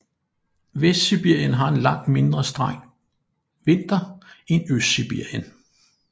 Vestsibirien har en langt mindre streng vinter end Østsibirien